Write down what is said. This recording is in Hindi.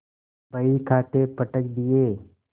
बहीखाते पटक दिये